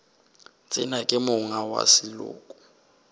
tsene ka monga wa seloko